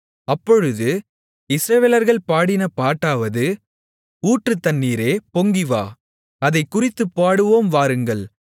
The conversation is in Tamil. அப்பொழுது இஸ்ரவேலர்கள் பாடின பாட்டாவது ஊற்றுத் தண்ணீரே பொங்கிவா அதைக்குறித்துப் பாடுவோம் வாருங்கள்